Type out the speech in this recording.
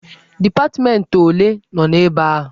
Dipatmentị ole nọ ebe ahụ?